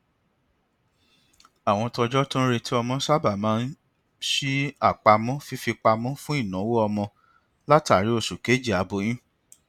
àwọn tọjọ tó ń retí ọmọ sábà máa ń ṣí àpamọ fífipamọ fún ináwó ọmọ látàrí oṣù kejì aboyún